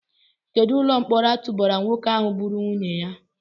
Kedụ ụlọ mkpọrọ a tụbara nwoke ahụ gburu nwunye ya?